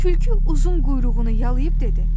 Tülkü uzun quyruğunu yalıyıb dedi.